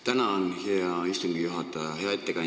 Tänan, hea istungi juhataja!